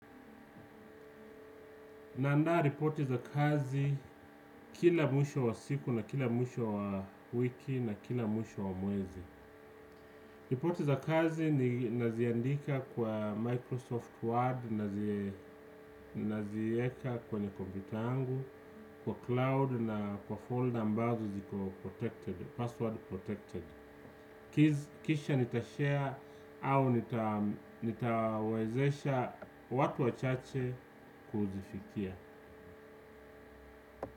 Na andaa ripoti za kazi kila mwisho wa siku na kila mwisho wa wiki na kila mwisho wa mwezi. Ripoti za kazi ni naziandika kwa Microsoft Word naziweka kwenye kompyuta yangu, kwa cloud na kwa folder ambazo ziko protected, password protected. Kisha nita share au nitawezesha watu wachache kuzifikia.